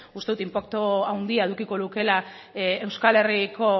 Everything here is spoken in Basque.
uste dut inpaktu handia edukiko lukela euskal herriko